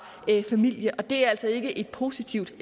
familien og det er altså ikke et positivt